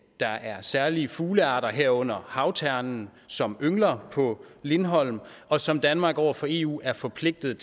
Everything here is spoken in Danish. der er særlige fuglearter herunder havternen som yngler på lindholm og som danmark over for eu er forpligtet